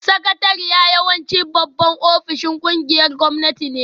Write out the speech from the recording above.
Sakatariya yawanci babban ofishin ƙungiyoyin gwamnati ne